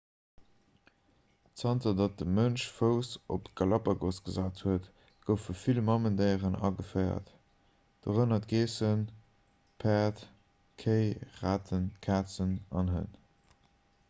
zanter datt de mënsch fouss op d'galapagos gesat huet goufe vill mamendéieren ageféiert dorënner geessen päerd kéi raten kazen an hënn